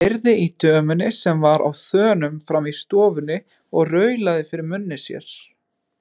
Heyrði í dömunni sem var á þönum frammi í stofunni og raulaði fyrir munni sér.